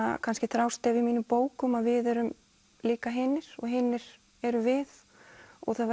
kannski þrástef í mínum bókum að við erum líka hinir og hinir erum við og það